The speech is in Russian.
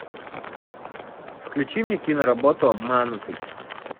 включи мне киноработу обманутый